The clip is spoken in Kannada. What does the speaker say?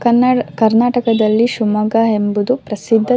ಕನ್ನಡ್ ಕರ್ನಾಟಕದಲ್ಲಿ ಶಿಮೊಗ್ಗಾ ಎಂಬುವುದು ಪ್ರಸಿದ್ಧ.